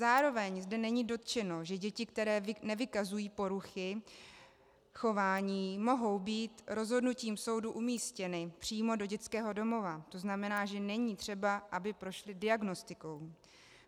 Zároveň zde není dotčeno, že děti, které nevykazují poruchy chování, mohou být rozhodnutím soudů umístěny přímo do dětského domova, to znamená, že není třeba, aby prošly diagnostikou.